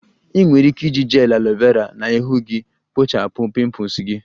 Ị nwere ike iji gel aloe Vera na ihu gị kpochapụ pimples gị